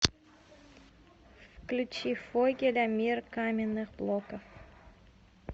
включи фогеля мир каменных блоков